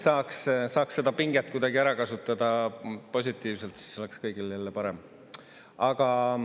Saaks seda pinget kuidagi ära kasutada positiivselt, siis oleks kõigil jälle parem.